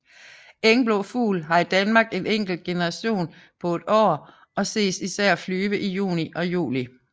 Engblåfugl har i Danmark en enkelt generation på et år og ses især flyve i juni og juli